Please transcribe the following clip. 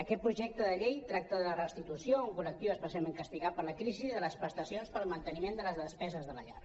aquest projecte de llei tracta de la restitu·ció a un col·lectiu especialment castigat per la crisi de les prestacions per al manteni·ment de les despeses de la llar